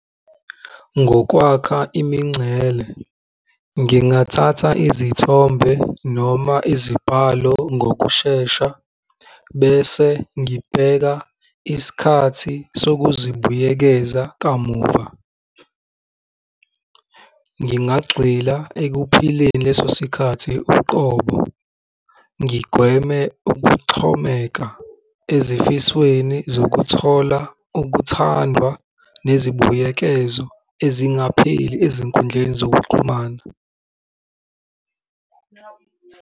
Ngokwakha imingcele, ngingathatha izithombe noma izibhalo ngokushesha bese ngibheka isikhathi sokuzibuyekeza kamuva. Ngingagxila ekuphileni leso sikhathi uqobo, ngigweme ukuxhomeka ezifisweni zokuthola ukuthandwa nezibuyekezo ezingapheli ezinkundleni zokuxhumana.